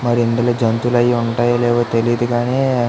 మరియు జంతువులు అవి ఉంటాయో లేదో తెలీద్ గాని --